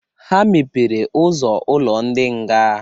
Ha mepere ụzọ ụlọ ndị nga.